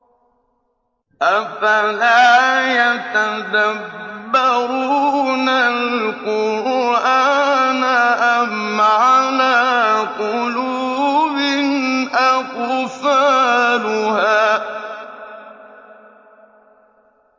أَفَلَا يَتَدَبَّرُونَ الْقُرْآنَ أَمْ عَلَىٰ قُلُوبٍ أَقْفَالُهَا